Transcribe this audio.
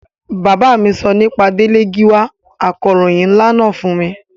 Bàbá mi sọ nípa Délé Gíwá akọ̀ròhìn nlá náà fún mi